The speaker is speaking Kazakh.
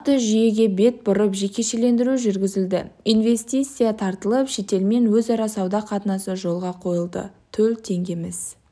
нақты жүйеге бет бұрып жекешелендіру жүргізілді инвестиция тартылып шетелмен өзара сауда қатынасы жолға қойылды төл теңгеміз